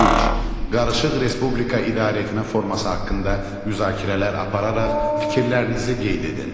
Üç: Qarışıq respublika idarəetmə forması haqqında müzakirələr apararaq fikirlərinizi qeyd edin.